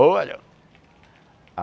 Olha!